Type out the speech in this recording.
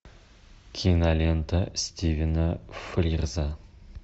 кинолента стивена фрирза